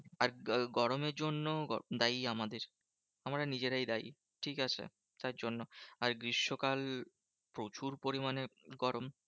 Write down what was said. আর গ গরমের জন্য দায়ী আমাদের আমরা নিজেরাই দায়ী, ঠিকাছে? তার জন্য আর গ্রীষ্মকাল প্রচুর পরিমানে গরম।